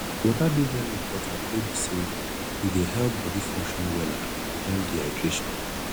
water dey very important wey be say e dey help body function wella and prevent dehydration